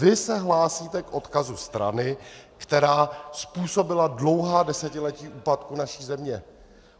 Vy se hlásíte k odkazu strany, která způsobila dlouhá desetiletí úpadku naší země.